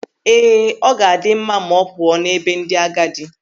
Ee, ọ ga-adị mma ma ọ pụọ n'ebe ndị agadi.